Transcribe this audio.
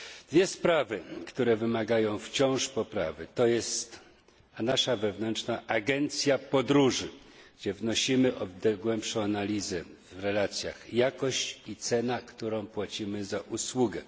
Dwie sprawy, które wymagają wciąż poprawy, to jest nasza wewnętrzna agencja podróży, gdzie wnosimy o głębszą analizę w relacjach jakość i cena, którą płacimy za usługę.